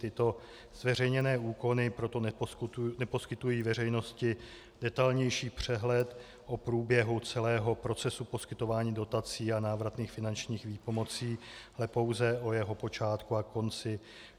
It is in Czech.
Tyto zveřejněné úkony proto neposkytují veřejnosti detailnější přehled o průběhu celého procesu poskytování dotací a návratných finančních výpomocí, ale pouze o jeho počátku a konci.